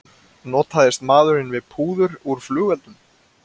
Notaðist maðurinn við púður úr flugeldum